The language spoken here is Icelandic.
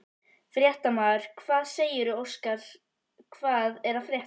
Fréttamaður: Hvað segirðu Óskar, hvað er að frétta?